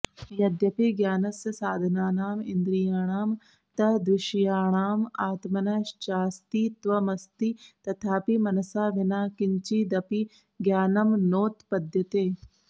यद्यपि ज्ञानस्य साधनानाम् इन्द्रियाणां तद्विषयाणाम् आत्मनश्चास्तित्वमस्ति तथापि मनसा विना किञ्चिदपि ज्ञानं नोत्पद्यते